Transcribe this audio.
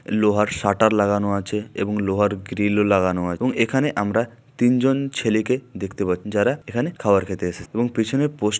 লোহার শাটার লাগানো আছে এবং লোহার গ্রিল -ও লাগানো আ। এখানে আমরা তিনজন ছেলেকে দেখতে পা। যারা এখানে খাবার খেতে এসে এবং পেছনে পোস--